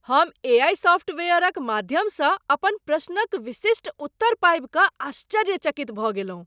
हम एआई सॉफ्टवेयरक माध्यमसँ अपन प्रश्नक विशिष्ट उत्तर पाबि कऽ आश्चर्यचकित भऽ गेलहुँ।